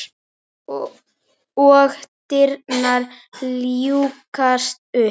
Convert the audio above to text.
Og dyrnar ljúkast upp.